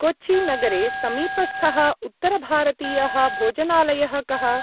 कोचि-नगरे समीपस्थः उत्तरभारतीयः भोजनालयः कः?